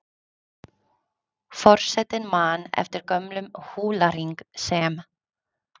Forsetinn man eftir gömlum húlahring sem